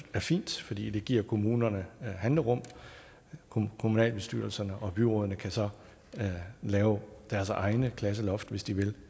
fint fordi det giver kommunerne handlerum kommunalbestyrelserne og byrådene kan så lave deres egne klasseloft hvis de vil